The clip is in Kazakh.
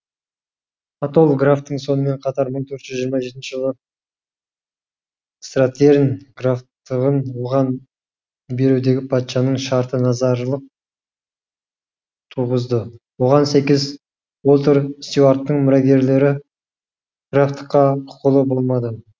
атолл графтың сонымен қатар мың төрт жүзжиырма жетінші жылы стратерн графтығын оған берудегі патшаның шарты назарылық туғызды оған сәйкес уолтер стюарттың мұрагерлері графтыққа құқылы болмады